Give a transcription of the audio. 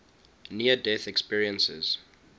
near death experiences